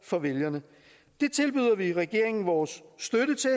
for vælgerne det tilbyder vi regeringen vores støtte til